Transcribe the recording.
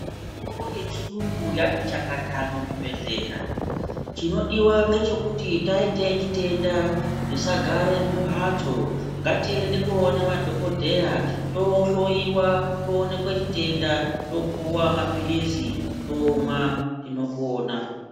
Mitombo yechiyungu yati chakata muzvibhedhlera. Chinodiwa ngechekuti taite chitenda, tisagare mumhatso. Ngatiende koone madhokodheya ,tohloiwa, toonekwe chitenda, topuwa maphilizi ,tomwa, tinopona.